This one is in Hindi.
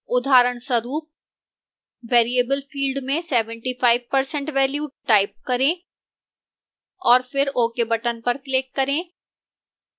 उदाहरणस्वरूप variable field में 75% value type करें और फिर ok बटन पर क्लिक करें